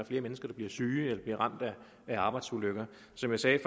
flere mennesker der bliver syge eller bliver ramt af arbejdsulykker som jeg sagde